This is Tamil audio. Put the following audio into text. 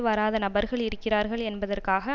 வராத நபர்கள் இருக்கிறார்கள் என்பதற்காக